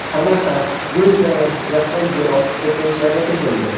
Samarqand, Guliston va Jizzaxda yer osti silkinishlari sezildi.